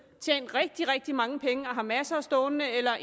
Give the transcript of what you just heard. tjent rigtig rigtig mange penge og har masser stående eller